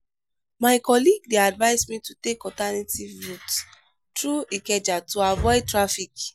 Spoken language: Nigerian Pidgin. my colleague dey advise me to take alternative route through ikeja to avoid traffic.